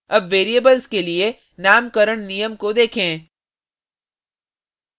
अब variables के लिए नामकरण नियम को देखें